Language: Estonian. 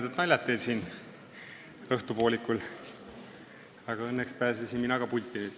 Toredad naljad teil siin õhtupoolikul, aga õnneks pääsesin mina ka pulti.